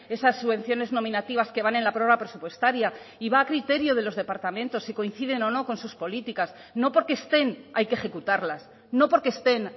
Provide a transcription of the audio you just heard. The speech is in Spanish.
esas subvenciones nominativas que van en la prórroga presupuestaria y va a criterio de los departamentos si coinciden o no con sus políticas no porque estén hay que ejecutarlas no porque estén